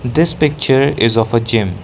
this picture is of a gym.